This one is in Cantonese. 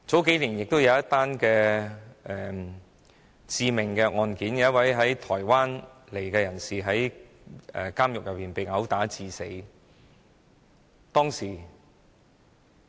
數年前曾發生一宗致命案件，一位從台灣來港的人士在監獄內被毆打致死。